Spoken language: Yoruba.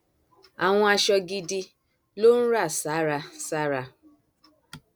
àwọn aṣọ gidi ló ń rà sára sára